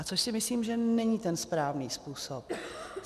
A to si myslím, že není ten správný způsob.